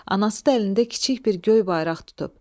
Anası da əlində kiçik bir göy bayraq tutub.